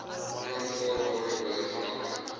onaanvaarbare hoë vlakke